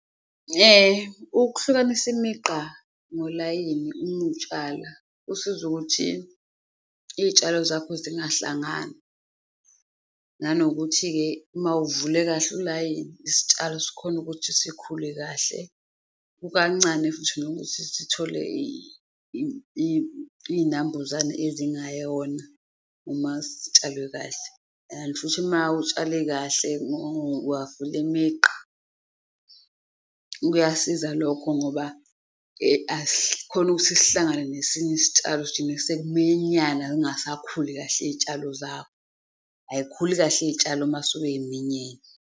Ukuhlukanisa imigqa ngolayini uma utshala kusiza ukuthi iy'tshalo zakho zingahlangani nanokuthi-ke uma uvule kahle ulayini, isitshalo sikhona ukuthi sikhule kahle, kukancane futhi nokuthi sithole iy'nambuzane ezingayona uma sitshalwe kahle. And futhi uma utshale kahle wavula imigqa, kuyasiza lokho ngoba asikhoni ukuthi sihlangane nesinye isitshalo sekuminyana kungasakhuli kahle iy'tshalo zakho. Ay'khuli kahle iy'tshalo uma suke yiminyene.